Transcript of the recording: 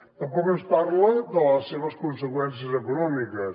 tampoc ens parla de les seves conseqüències econòmiques